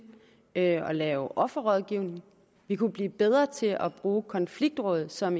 at lave offerrådgivning vi kunne blive bedre til at bruge konfliktråd som